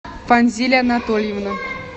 фанзиль анатольевна